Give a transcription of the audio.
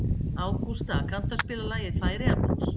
Ágústa, kanntu að spila lagið „Færeyjablús“?